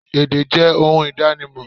Èdè jẹ ohun ìdánimò